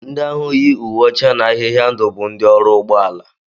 Ndị ahụ yi uwe ọcha na ahịhịa ndụ bụ ndị ọrụ ụgbọala